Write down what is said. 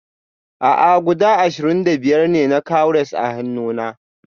A'a guda ashirin da biyar ne na cowries a hannuna